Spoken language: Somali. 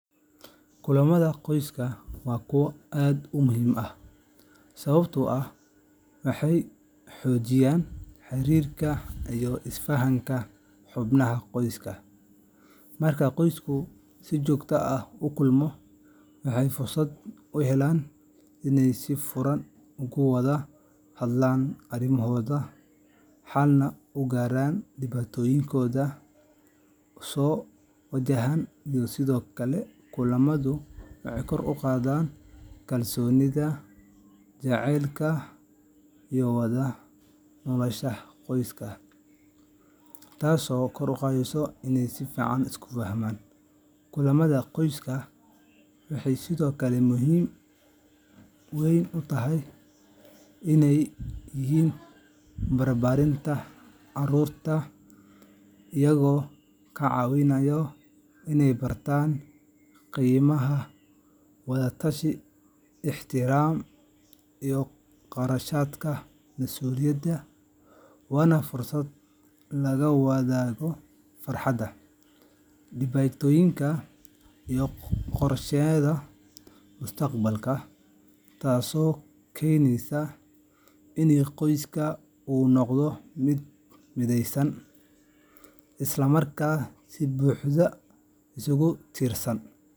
Kulamada qoyska waa kuwo aad muhiim u ah sababtoo ah waxay xoojiyaan xiriirka iyo isfahanka xubnaha qoyska. Marka qoysku si joogto ah u kulmo, waxay fursad u helaan inay si furan uga wada hadlaan arrimahooda, xalna uga gaaraan dhibaatooyinka soo wajaha. Sidoo kale, kulamadu waxay kor u qaadaan kalsoonida, jacaylka, iyo wada noolaanshaha qoyska. Kulamada qoyska waxay sidoo kale muhiim u yihiin barbaarinta carruurta, iyagoo ka caawinaya inay bartaan qiimaha wada tashi, ixtiraamka iyo garashada mas’uuliyadda. Waa fursad lagu wadaago farxadda, dhibaatooyinka, iyo qorshayaasha mustaqbalka, taasoo keenaysa in qoyska uu noqdo mid mideysan, isla markaana si buuxda isugu tiirsan.